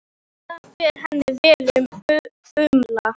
Það fer henni vel að umla.